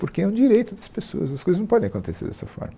Porque é um direito das pessoas, as coisas não podem acontecer dessa forma.